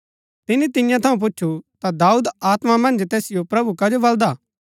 तिनी तियां थऊँ पुछु ता दाऊद आत्मा मन्ज तैसिओ प्रभु कजो बलदा हा